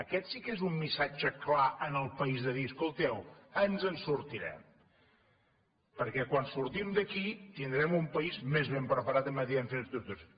aquest sí que és un missatge clar en el país de dir escolteu ens en sortirem perquè quan sortim d’aquí tindrem un país més ben preparat en matèria d’infraestructures